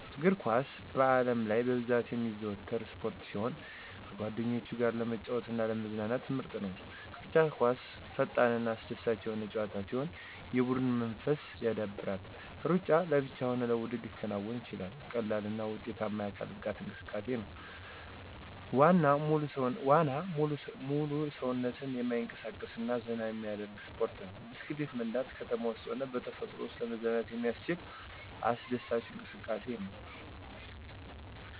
_አግርኳስ በአለምላይ ብዛት የሚዘወተር ስፖርት ሲሆን ከጓደኞቸ ጋር ለመጫወት አና ለማዝናናት ምርጥ ነዉ። _ቅርጫት ኳስ ፈጠንናአስደሳች የሆነ ጨዋታ ሲሆን የቡድን መንፈስን ያዳብራል። _ሩጫ ለብቻ ሆነ በቡድን ሊከናወን የሚችል ቀላልና ውጤታማ የአካል ብቃት እንቅሰቃሴ ነው። _ዋና ሙሉ ሰዉነትን የማይንቀሳቀስ እና ዘና የሚያደርግ ስፖርት ነዉ። _ብስክሌት መንዳት ከተማ ዉስጥም ሆነ በተፈጥሮ ወሰጥ ለመዝናናት የሚያስችል አስደሳች እንቅሰቃሴ ነዉ።